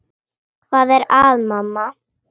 Hvað er að, mamma?